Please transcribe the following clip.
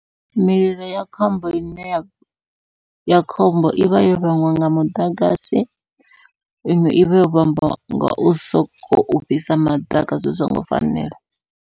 Mililo ya khombo ine ya ya khombo ivha yo vhangwa nga muḓagasi, iṅwe ivha yo vhangwa ngau sokou fhisa maḓaka zwi songo fanela.